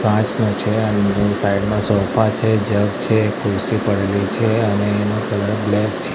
કાંચનું છે અંદર સાઇડ માં સોફા છે જગ છે એક કુર્સી પડેલી છે અને એનો કલર બ્લેક છે.